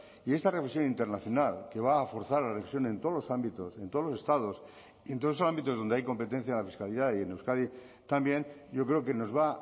y esta revisión internacional que va a forzar la revisión en todos los ámbitos en todos los estados y en todos esos ámbitos donde hay competencia de la fiscalidad y en euskadi también yo creo que nos va